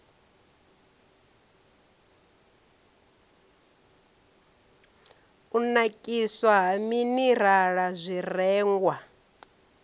u nakiswa ha minirala zwirengwa